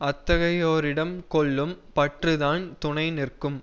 அத்தகையோரிடம் கொள்ளும் பற்றுதான் துணை நிற்கும்